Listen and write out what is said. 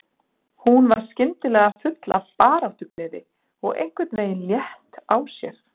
Hún var skyndilega full af baráttugleði og einhvern veginn létt á sér.